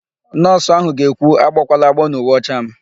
Nọọsụ áhụ̀ ga-ekwu, "agbọkwala agbọọ n'uwe ọcha m"!